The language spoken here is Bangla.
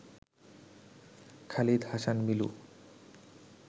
খালিদ হাসান মিলু